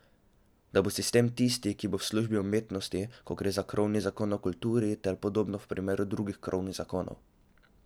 Da bo sistem tisti, ki bo v službi umetnosti, ko gre za krovni zakon o kulturi, ter podobno v primeru drugih krovnih zakonov.